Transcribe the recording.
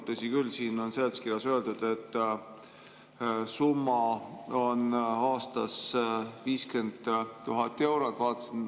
Tõsi küll, seletuskirjas on öeldud, et summa on aastas 50 000 eurot.